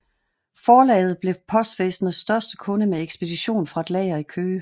Forlaget blev postvæsenets største kunde med ekspedition fra et lager i Køge